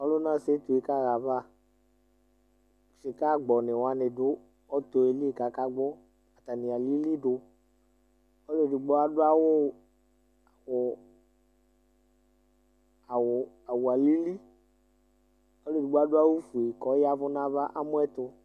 Ɔlʋna setu yɛ kaɣa ayava Sɩkaagbɔnɩ wanɩ dʋ ɔtɔ yɛ li kʋ akagbɔ Atanɩ alili dʋ Ɔlʋ edigbo adʋ awʋ ʋ awʋ awʋ alili, ɔlʋ edigbo adʋ awʋfue kʋ ɔya ɛvʋ nʋ ava, amɔ yɛ tʋ